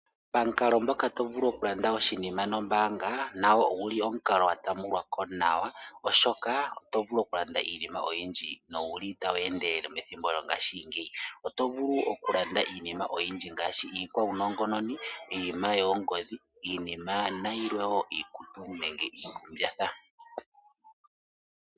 Pamukalo ngoka tovulu okulanda oshinima nombaanga nago oguli omukalo gwa tambulwako nawa oshoka otovulu oku landa iinima oyindji nowuli tagu endelele methimbo lyongashingeyi. Oto vulu okulanda iinima oyindji ngaashi iikwaunongononi ,iinima yoongodhi nayilwe woo iikutu nenge iikumbatha.